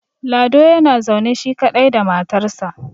lado yana zaune shi kaɗai da matarsa